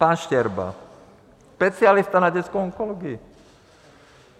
Pan Štěrba, specialista na dětskou onkologii.